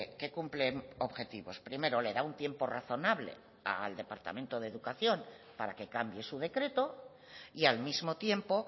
que cumplen objetivos primero le da un tiempo razonable al departamento de educación para que cambie su decreto y al mismo tiempo